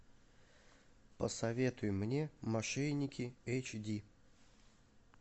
посоветуй мне мошенники эйч ди